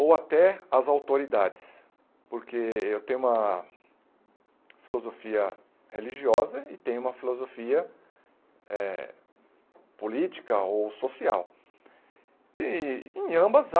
ou até as autoridades, porque eu tenho uma filosofia religiosa e tenho uma filosofia eh política ou social, e em ambas há